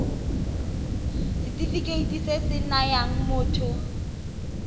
setefikeiti se se nayang motho